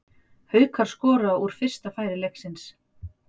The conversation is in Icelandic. Haukar skora úr fyrsta færi leiksins.